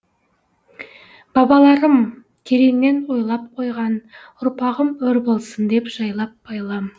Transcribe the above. бабаларым тереңнен ойлап қойған ұрпағым өр болсын деп жайлап байлам